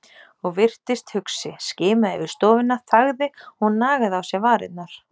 Og virtist hugsi, skimaði yfir stofuna, þagði og nagaði á sér varirnar.